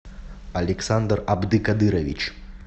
александр абдыкадырович